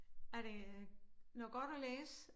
Er det noget godt at læse?